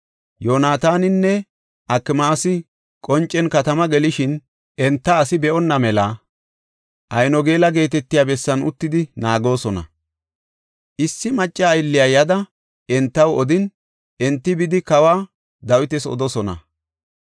Yoonataaninne Akimaasi qoncen katamaa gelishin enta asi be7onna mela Aynogeela geetetiya bessan uttidi naagoosona. Issi macca aylliya yada entaw odin, enti bidi kawa Dawitas odoosona.